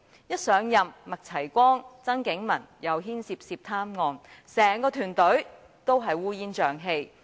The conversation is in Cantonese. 剛上任又鬧出麥齊光和曾景文的涉貪案，整個團隊烏煙瘴氣。